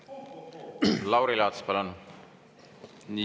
Lauri Laats, palun!